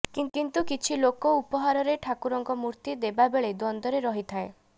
କିନ୍ତୁ କିଛି ଲୋକ ଉପହାରରେ ଠାକୁରଙ୍କ ମୂର୍ତ୍ତି ଦେବା ବେଳେ ଦ୍ୱନ୍ଦ୍ୱରେ ରହିଥାଏ